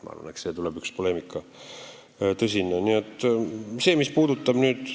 Ma arvan, et selle üle tuleb tõsine poleemika.